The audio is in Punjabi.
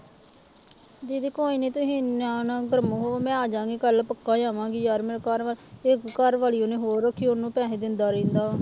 ਦੀਦੀ ਕੋਈ ਨੀ ਤੁਸੀਂ ਨਿਆਣਾ ਫਿਰ ਮੂੰਹ ਮੈਂ ਆ ਜਾਵਾਂਗੀ ਕੱਲ੍ਹ ਪੱਕਾ ਆ ਜਾਵਾਂਗੀ ਯਾਰ ਮੇਰੇ ਘਰ ਇੱਕ ਘਰਵਾਲੀ ਉਹਨੇ ਹੋਰ ਰੱਖੀ ਉਹਨੂੰ ਪੈਸੇ ਦਿੰਦਾ ਰਹਿੰਦਾ ਵਾ।